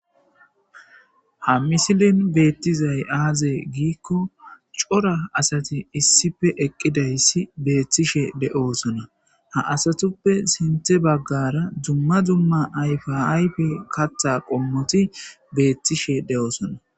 Ha missilen betizay aze gikko cora asati issippe eqizasi betishe deosona ha asatuppe sinte bagara dumma dumma ayifa ayifeti kata qomoti betishe deosona.